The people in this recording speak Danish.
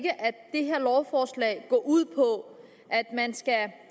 det her lovforslag går ud på at man skal